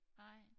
Nej